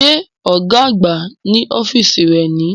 Ṣé ọ̀gá àgbà ní ọ́fíìsì rẹ̀ ni